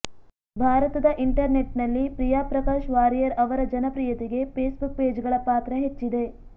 ಭಾರತದ ಇಂಟರ್ನೆಟ್ನಲ್ಲಿ ಪ್ರಿಯಾ ಪ್ರಕಾಶ್ ವಾರಿಯರ್ ಅವರ ಜನಪ್ರಿಯತೆಗೆ ಫೇಸ್ಬುಕ್ ಪೇಜ್ಗಳ ಪಾತ್ರ ಹೆಚ್ಚಿದೆ